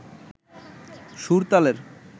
সুর, তালের